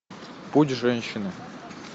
путь женщины